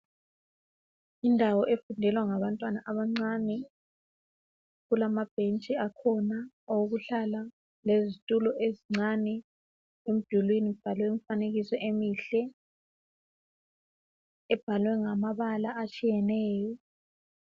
Indawo efundelwa ngabantwana abancane. Kulamabhentshi akhona awokuhlala lezitulo ezincane. Emdulwini kubhalwe imifanekiso emihle ebhalwe ngamabala atshiyeneyo.